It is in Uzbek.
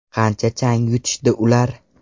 Qancha chang yutishdi ular?!